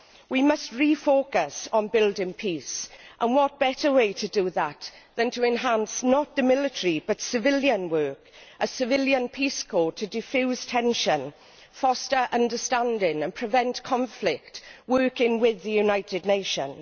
We must refocus on building peace, and what better way to do that than to enhance not the military but civilian work a civilian peace corps to defuse tension, foster understanding and prevent conflict, working with the United Nations.